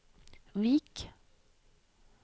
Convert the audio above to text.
Vik